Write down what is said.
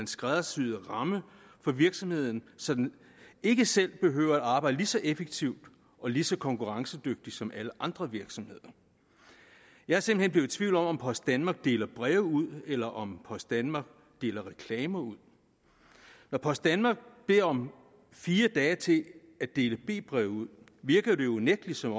skræddersyet ramme for virksomheden så den ikke selv behøver at arbejde lige så effektivt og lige så konkurrencedygtigt som alle andre virksomheder jeg er simpelt i tvivl om om post danmark deler breve ud eller om post danmark deler reklamer ud når post danmark beder om fire dage til at dele b breve ud virker det unægtelig som